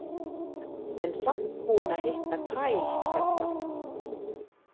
En samt búinn að hitta Kyle hérna.